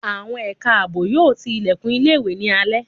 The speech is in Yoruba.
Àwọn ẹ̀ka àbò yóò tí ìlẹ̀kùn ilé ìwé ní alẹ́